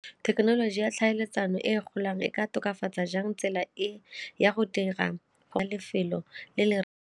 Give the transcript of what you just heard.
Thekenoloji ya tlhaeletsano e e golang e ka tokafatsa jang tsela e ya go dira go lefelo le le?